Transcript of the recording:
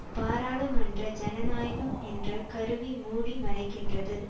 பாராளுமன்ற ஜனநாயகம் என்ற கருவி மூடி மறைக்கின்றது